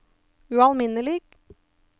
ualminnelig